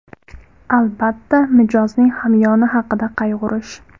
Albatta, mijozning hamyoni haqida qayg‘urish.